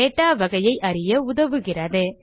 data வகையை அறிய உதவுகிறது